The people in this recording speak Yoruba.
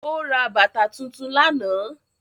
Ó ra bàtà tuntun lánàá